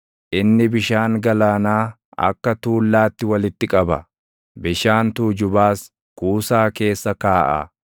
Inni bishaan galaanaa akka tuullaatti walitti qaba; bishaan tuujubaas kuusaa keessa kaaʼa.